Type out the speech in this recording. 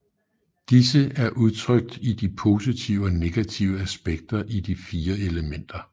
Disse er udtrykt i de positive og negative aspekter af de fire elementer